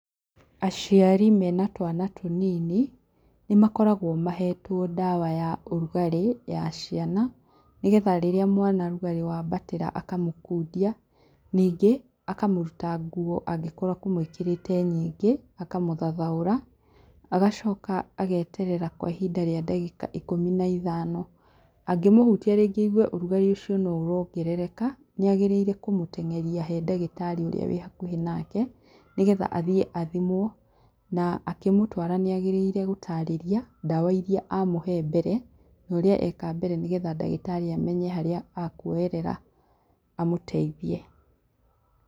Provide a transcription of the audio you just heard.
Aciari mena twana tũnini nĩmakoragwo mahetwo ndawa ya ũrugarĩ ya ciana, nĩgetha rĩrĩa mwana ũrugarĩ wambatĩra akamũkundia. Ningĩ akamũruta nguo angĩkorwo akũmũĩkĩrĩte nyingĩ akamũthathaũra, agacoka ageterera kwa ihinda rĩa ndagĩka ikũmi na ithano, angĩmũhutia rĩngĩ aigue ũrugarĩ ũcio no ũrongerereka nĩagĩrĩire kũmũteng'eria harĩ ndagĩtarĩ ũrĩa ũrĩ hakuhĩ nake nĩgetha athiĩ athimwo, na akĩmũtwara nĩ agĩrĩire gũtarĩria ndawa iria amũhee mbere na ũrĩa eka mbere, nĩgetha ndagĩtarĩ amenye harĩa akuonyerera amũteithie.